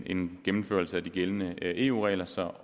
en gennemførelse af de gældende eu regler så